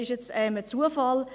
Das ist ein Zufall.